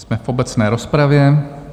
Jsme v obecné rozpravě.